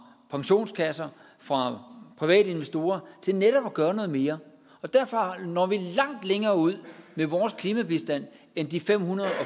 pensionskasser og fra private investorer til netop at gøre noget mere derfor når vi langt længere ud med vores klimabistand end de fem hundrede og